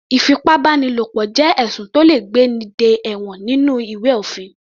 Ìfipábánilo jẹ́ ẹ̀sùn tó le gbé ní dé ẹ̀wọ̀n nínú ìwé òfin.